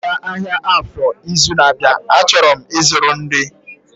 M ga-aga Afor ahịa izu na-abịa, a chọrọ m ịzụrụ nri